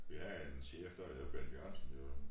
Vi havde en chef der hed Bent Jørgensen derude